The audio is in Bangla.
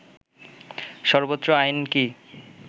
সর্বোচ্চ আইন কি